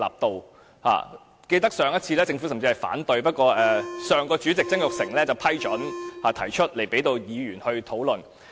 我記得上次政府甚至反對，不過上屆立法會主席曾鈺成批准提出這項修正案，讓議員討論。